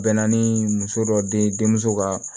Bɛnna ni muso dɔ denmuso ka